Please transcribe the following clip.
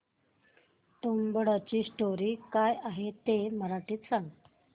तुंबाडची स्टोरी काय आहे ते मराठीत सांग